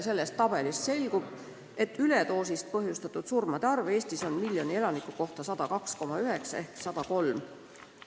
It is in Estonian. Sellest tabelist selgub, et üledoosist põhjustatud surmasid on Eestis miljoni elaniku kohta 102,9 ehk 103.